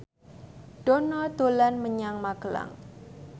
Dono dolan menyang Magelang